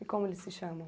E como eles se chamam?